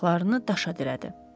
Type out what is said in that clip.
Ayaqlarını daşa dirədi.